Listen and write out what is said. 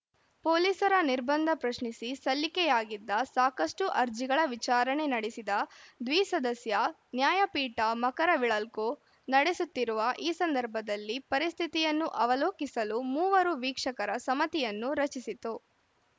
ಪೊಲೀಸರ ನಿರ್ಬಂಧ ಪ್ರಶ್ನಿಸಿ ಸಲ್ಲಿಕೆಯಾಗಿದ್ದ ಸಾಕಷ್ಟುಅರ್ಜಿಗಳ ವಿಚಾರಣೆ ನಡೆಸಿದ ದ್ವಿಸದಸ್ಯ ನ್ಯಾಯಪೀಠ ಮಕರವಿಳಖ್ಖು ನಡೆಯುತ್ತಿರುವ ಈ ಸಂದರ್ಭದಲ್ಲಿ ಪರಿಸ್ಥಿತಿಯನ್ನು ಅವಲೋಕಿಸಲು ಮೂವರು ವೀಕ್ಷಕರ ಸಮತಿಯನ್ನು ರಚಿಸಿತು